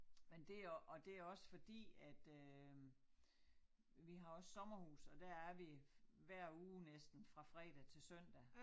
Men det og og det også fordi at øh vi har også sommerhus og der er vi hver uge næsten fra fredag til søndag